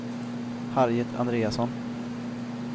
Harriet Andreasson